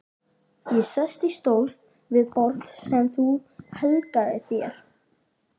Ég sest í stól við borð sem þú helgaðir þér.